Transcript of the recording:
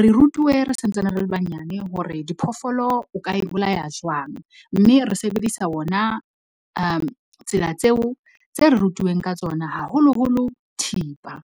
Re rutuwe re santsane re le banyane hore diphoofolo o ka e bolaya jwang, mme re sebedisa ona tsela tseo tse re rutuweng ka tsona, haholoholo thipa.